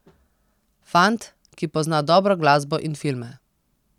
Fant, ki pozna dobro glasbo in filme.